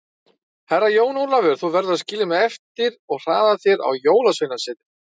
Herra Jón Ólafur, þú verður að skilja mig eftir og hraða þér á Jólasveinasetrið.